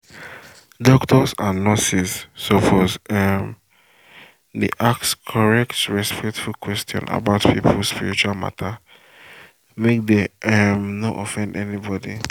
doctors and nurses suppose um dey ask correct respectful question about people spiritual matter make dem um no offend anybody.